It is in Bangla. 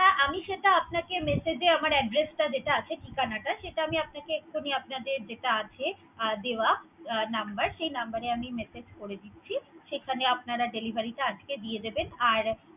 আমি যেটা সেটা আপনাকে message আমার address টা যেটা আছে ঠিকানাটা, সেটা আমি এখনি আপনাদের যেটা আছে দেওয়া নাম্বার সেই নাম্বার এ message করে দিচ্ছি। সেখানে আপনার delivery আজকে দিয়ে দিবেন, আর।